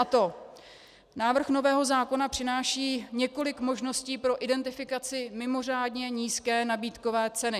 A to: Návrh nového zákona přináší několik možností pro identifikaci mimořádně nízké nabídkové ceny.